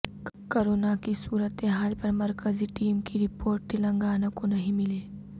corona کی صورتحال پر مرکزی ٹیم کی رپورٹ تلنگانہ کو نہیں ملی